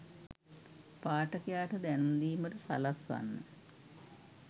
පාඨකයාට දැනුම් දීමට සලස්වන්න